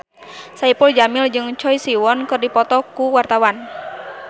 Saipul Jamil jeung Choi Siwon keur dipoto ku wartawan